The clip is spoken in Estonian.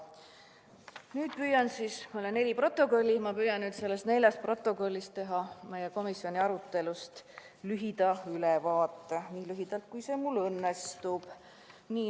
Nüüd on mul ees neli protokolli, püüan nende nelja protokolli põhjal teha meie komisjoni aruteludest lühida ülevaate – nii lühidalt, kui see mul õnnestub.